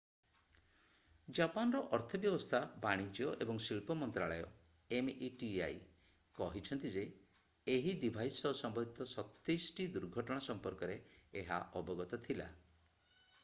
ଜାପାନର ଅର୍ଥବ୍ୟବସ୍ଥା ବାଣିଜ୍ୟ ଏବଂ ଶିଳ୍ପ ମନ୍ତ୍ରାଳୟ meti କହିଛି ଯେ ଏହି ଡିଭାଇସ୍ ସହ ସମ୍ବନ୍ଧିତ 27 ଟି ଦୁର୍ଘଟଣା ସମ୍ପର୍କରେ ଏହା ଅବଗତ ଥିଲା।